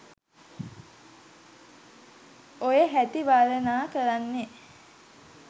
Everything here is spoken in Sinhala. ඔය හැටි වර්ණනා කරන්නේ.